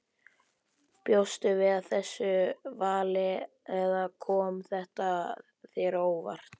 Bjóstu við þessu vali eða kom þetta þér á óvart?